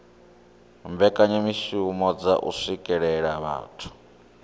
mbekanyamishumo dza u swikelela vhathu